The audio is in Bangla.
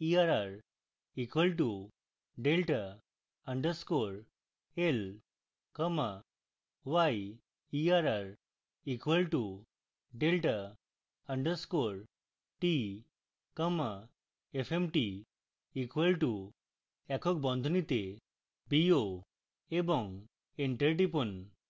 xerr equal to delta underscore l comma yerr equal to delta underscore t comma fmt equal to একক বন্ধনীতে bo এবং এন্টার টিপুন